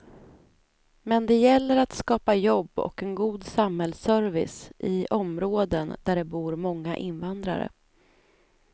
Men det gäller att skapa jobb och en god samhällsservice i områden där det bor många invandrare.